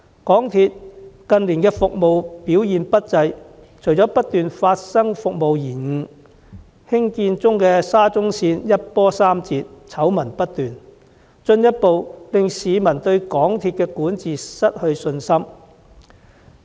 港鐵公司近年的服務表現不濟，除了不斷發生服務延誤事故，興建中的沙田至中環綫更一波三折，醜聞不絕，進一步削弱市民對港鐵公司管治的信心。